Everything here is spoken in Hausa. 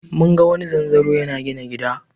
Mun ga wani zanzaro yana gina gida.